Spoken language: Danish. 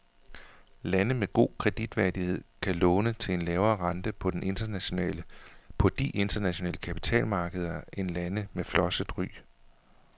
Lande med god kreditværdighed kan låne til en lavere rente på de internationale kapitalmarkeder end lande med flosset ry.